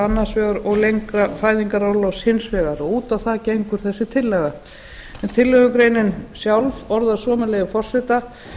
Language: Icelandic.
annars vegar og lengra fæðingarorlofs hins vegar út á það gengur þessi tillaga en tillögugreinin sjálf orðist svo með leyfi forseta